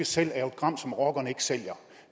selv jo et gram som rockerne ikke sælger